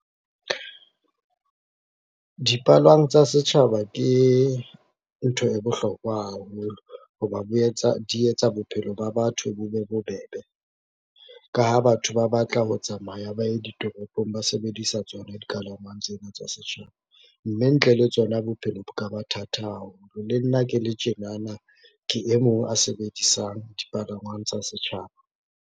Dipalwang tsa setjhaba ke ntho e bohlokwa haholo, ho ba di etsa bophelo ba batho bo be bobebe. Ka ha batho ba batla ho tsamaya ba ye ditoropong ba sebedisa tsona dikalamang tsena tsa setjhaba, mme ntle le tsona bophelo bo ka ba thata haholo. Le nna ke le tjenana ke e mong a sebedisang dipalangwang tsa setjhaba.